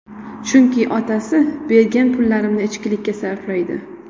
Chunki otasi bergan pullarimni ichkilikka sarflaydi.